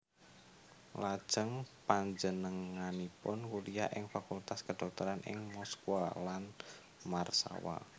Lajeng panjenenganipun kuliah ing Fakultas Kedhokteran ing Moskwa lan Warsawa